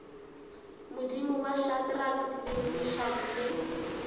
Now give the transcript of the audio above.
modimo wa shadrack meshack le